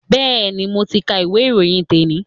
Bẹ́ẹ̀ni, mo ti ka ìwé ìròyìn te ni